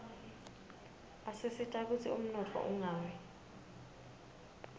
asisita kutsi umnotfo ungawi